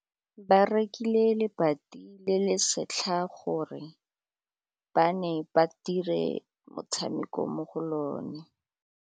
Ba rekile lebati le le setlha gore bana ba dire motshameko mo go lona.